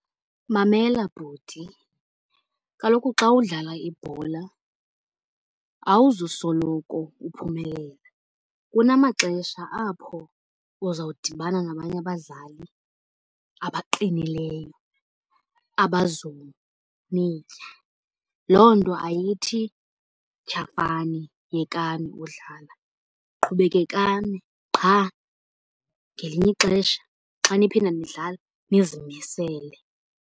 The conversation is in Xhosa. Mamela bhuti, kaloku xa udlala ibhola awuzusoloko uphumelela. Kunamaxesha apho uzawudibana nabanye abadlali abaqinileyo, abazonitya. Loo nto ayithi tyhafani, yekani udlala, qhubekekani qha ngelinye ixesha xa niphinda nidlala nizimisele.